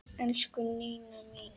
Elsku Nína mín.